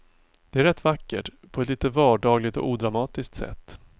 Det är rätt vackert, på ett lite vardagligt och odramatiskt sätt.